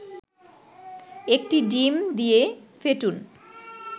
১টি ডিম দিয়ে ফেটুন